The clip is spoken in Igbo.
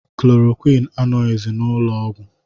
Chloroquine anọghịzi n'ụlọọgwụ